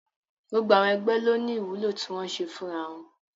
Gbogbo àwọn ẹgbẹ́ ló ní ìwúlò tí wọ́n ń ṣe fúnra wọn